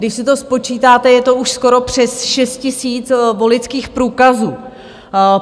Když si to spočítáte, je to už skoro přes 6 000 voličských průkazů.